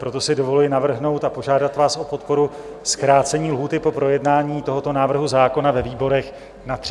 Proto si dovoluji navrhnout a požádat vás o podporu zkrácení lhůty pro projednání tohoto návrhu zákona ve výborech na 30 dnů.